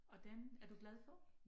Og den er du glad for?